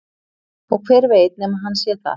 Og hver veit nema hann sé það?